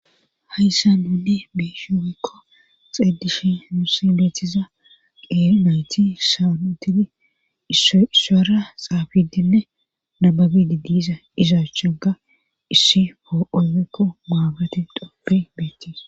Hayssa nunne biishu ekko xeedishi musi beethiza qeeri nayti sawunitidi isissoyra xaafidinne nababidi disa izaachchaga issi foo7olekko muagate doppe beettii